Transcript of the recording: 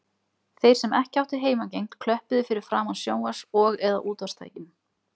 Þeir sem ekki áttu heimangengt klöppuðu fyrir framan sjónvarps- og eða útvarpstækin.